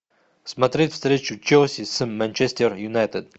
смотреть встречу челси с манчестер юнайтед